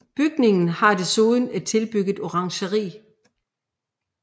Bygningen har desuden et tilbygget orangeri